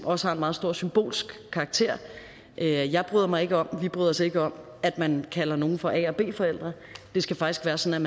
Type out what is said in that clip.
også har en meget stor symbolsk karakter jeg bryder mig ikke om vi bryder os ikke om at man kalder nogle for a og b forældre det skal faktisk være sådan